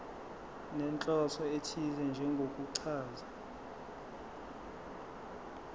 nenhloso ethize njengokuchaza